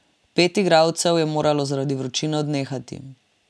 Pet igralcev je moralo zaradi vročine odnehati.